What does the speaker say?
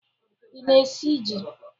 Ị na-esi ji?